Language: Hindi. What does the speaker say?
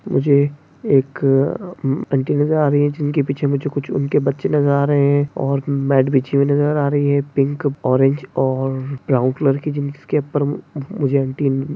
मुझे एक अं आंटी नजर आ रही है जिनके पीछे कुछ उनके बच्चे नजर आ रहे है और मॅट बिछी हुई नजर आ रही है पिंक ऑरेंज और ब्राउन कलर की जो --